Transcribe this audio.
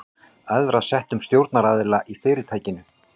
æðra settum stjórnaraðila í fyrirtækinu.